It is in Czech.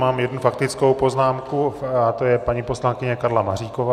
Mám jednu faktickou poznámku a to je paní poslankyně Karla Maříková.